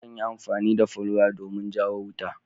Akan yi amani da folwaya domin jawo wuta.